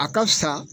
A ka fisa